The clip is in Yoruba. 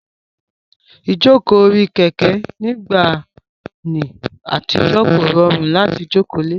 Ìjókòó orí Kẹ̀kẹ́ nígbà ní àtijọ́ kò rọrùn láti jókòó le